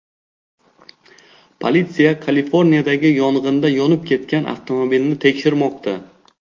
Politsiya Kaliforniyadagi yong‘inda yonib ketgan avtomobilni tekshirmoqda.